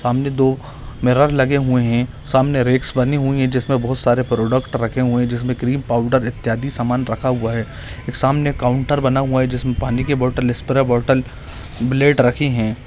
सामने दो मिरर लगे हुए है सामने रेख बनी हुई है जिसमे बहुत सारे प्रोडक्ट रखे हुए है जिसमे क्रीम पाउडर इत्यादि समान रखा हुआ है सामने काउन्टर बना हुआ है जिसमे पानी की बोतल स्प्रे बोतल ब्लैड रखी है।